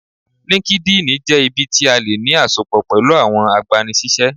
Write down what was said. Línkídinì jẹ́ ibi tí a tí lè ní àsopọ̀ pẹ̀lú àwọn agbani-síṣẹ́